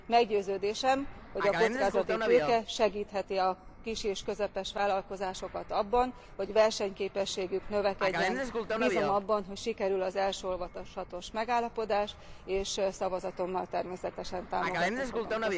Meggyőződésem, hogy a kockázati tőke segítheti a kis és közepes vállalkozásokat abban, hogy versenyképességük növekedjen. Bízom abban, hogy sikerül az első olvasatos megállapodás, és szavazatommal természetesen támogatni fogom.